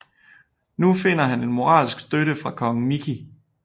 Nu finder han moralsk støtte fra Kong Mickey